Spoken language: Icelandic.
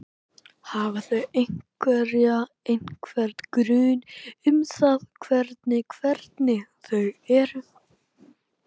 Hafa þau einhverja, einhvern grun um það hvernig hvernig þau eru?